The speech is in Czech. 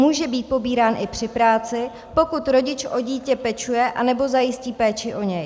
Může být pobírán i při práci, pokud rodič o dítě pečuje anebo zajistí péči o něj.